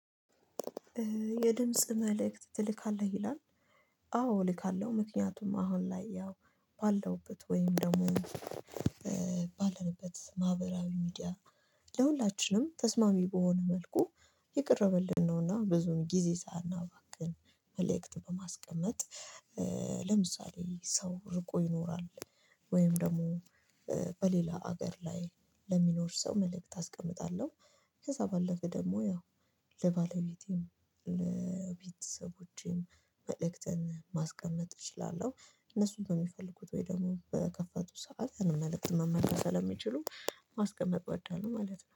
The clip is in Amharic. የድምጽ መልእክት ትልካለህ? ይላል አዎ እልካለሁ ምክንያቱም አሁን ላይ ያው ባለውበት ወይም ደግሞ ባለንበት ማህበራዊ ሚዲያ ለሁላችንም ተስማሚ በሆነ መልኩ እየቀረበልን ነውና ብዙም ጊዜ ሳናባክን መልእክት በማስቀመጥ ለምሳሌ ሰው ርቆ ይኖራል ወይም ደግሞ በሌላ ሀገር ላይ ለሚኖር ሰው መልእክት አስቀምጣለሁ ከዛ ባለፈ ደግሞ ያው ለባለቤቴም ለቤተሰቦቼም መልእክትን ማስቀመጥ እችላለሁ እነሱን በሚፈልጉት ወይ ደግሞ በከፈቱ ሰዓት መልእክት መመለስ ስለሚችሉ ማስቀመጥ እወዳላሁ ማለት ነው